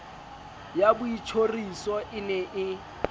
ya boitjhoriso e ne e